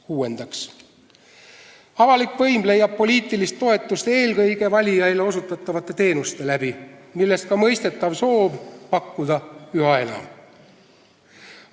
Kuuendaks, avalik võim leiab poliitilist toetust eelkõige valijaile osutatavate teenuste tõttu, millest ka mõistetav soov pakkuda neid üha enam.